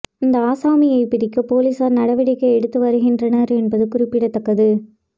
அந்த ஆசாமியை பிடிக்க பொலிஸார் நடவடிக்கை எடுத்து வருகின்றனர் என்பது குறிப்பிடத்தக்கது